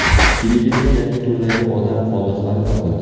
Filippinda yangi turdagi odam qoldiqlari topildi .